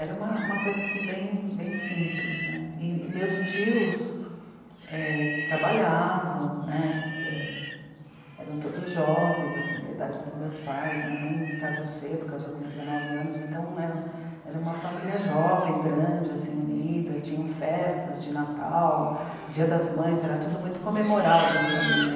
Era uma, uma coisa assim bem, bem simples né, e meus tios... é trabalhavam né... é, eram todos jovens assim da idade dos meus pais, minha mãe casou cedo, casou com dezenove anos, então era, era uma família jovem, grande assim, unida, tinham festas de Natal, Dia das Mães, era tudo muito comemorado em família.